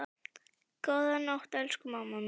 Góða nótt, elsku amma mín.